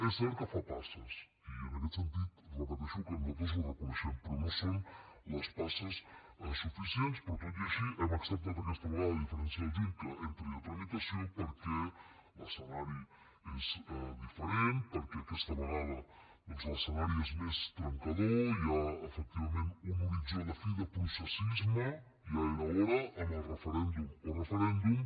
és cert que fa passes i en aquest sentit repeteixo que nosaltres ho reconeixem però no són les passes suficients però tot i així hem acceptat aquesta vegada a diferència del juny que entri a tramitació perquè l’escenari és diferent perquè aquesta vegada doncs l’escenari és més trencador hi ha efectivament un horitzó de fi de processisme ja era hora amb el referèndum o referèndum